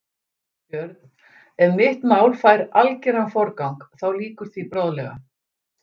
BJÖRN: Ef mitt mál fær algeran forgang, þá lýkur því bráðlega.